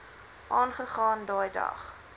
aangegaan daai dag